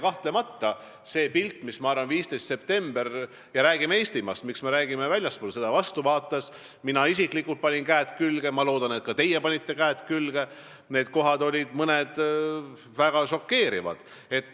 Kahtlemata, kui meenutada seda pilti, mis meile 15. septembril vastu vaatas – mina isiklikult panin käed külge, ma loodan, et ka teie panite käed külge –, siis mõned kohad olid väga šokeerivad.